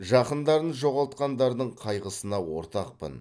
жақындарын жоғалтқандардың қайғысына ортақпын